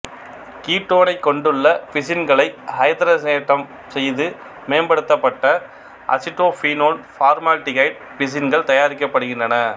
கீட்டோனைக் கொண்டுள்ள பிசின்களை ஐதரசனேற்றம் செய்து மேம்படுத்தப்பட்ட அசிட்டோபீனோன் பார்மால்டிகைடு பிசின்கள் தயாரிக்கப்படுகின்றன